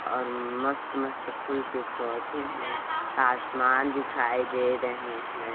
और मस्त-मस्त फूल के पौधे है आसमान दिखाई दे रहे है।